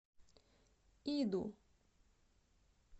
иду